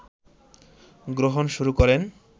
গ্রহণ শুরু করেন